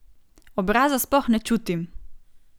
Obraza sploh ne čutim.